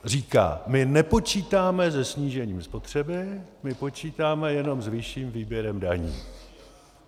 Říká: My nepočítáme se snížením spotřeby, my počítáme jenom s vyšším výběrem daní.